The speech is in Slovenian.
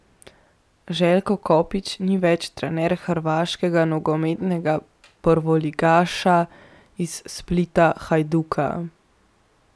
Željko Kopić ni več trener hrvaškega nogometnega prvoligaša iz Splita Hajduka.